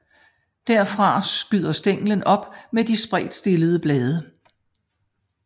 Derfra skyder stænglen op med de spredtstillede blade